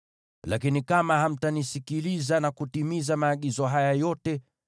“ ‘Lakini kama hamtanisikiliza na kutimiza maagizo haya yote,